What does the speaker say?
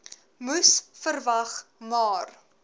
moes verwag maar